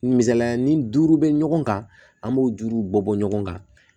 Misaliya ni duuru bɛ ɲɔgɔn kan an b'o juruw bɔ bɔ ɲɔgɔn kan